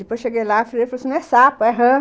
Depois eu cheguei lá, a filha falou assim, não é sapo, é rã.